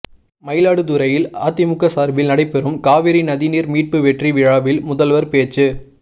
மயிலாடுதுறையில் அதிமுக சார்பில் நடைபெறும் காவிரி நதி நீர் மீட்பு வெற்றி விழாவில் முதல்வர் பேச்சு